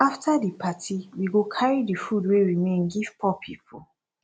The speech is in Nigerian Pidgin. after di party we go carry di food wey remain give poor people